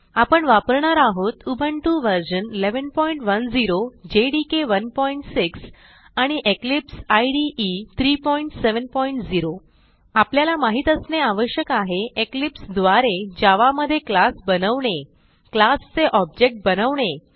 आपण वापरणार आहोत उबुंटू व्हर्शन 1110 जेडीके 16 आणि इक्लिप्स इदे 370 आपल्याला माहीत असणे आवश्यक आहे इक्लिप्स द्वारे जावा मधे क्लास बनवणे क्लास चे ऑब्जेक्ट बनवणे